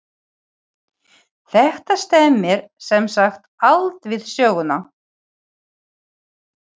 Þetta stemmir sem sagt allt við söguna.